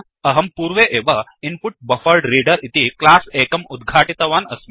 अहं पूर्वे एव इन्पुटबफरेड्रेडर इति क्लास् एकम् उद्घाटितवान् अस्मि